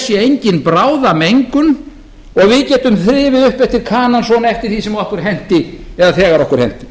sé engin bráðamengun og við getum þrifið upp eftir kanann svona eftir því sem okkur henti eða þegar okkur henti